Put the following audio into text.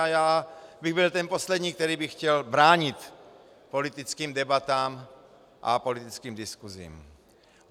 A já bych byl ten poslední, který by chtěl bránit politickým debatám a politickým diskusím.